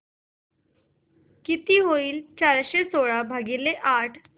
किती होईल चारशे सोळा भागीले आठ